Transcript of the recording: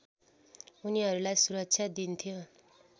उनीहरूलाई सुरक्षा दिन्थ्यो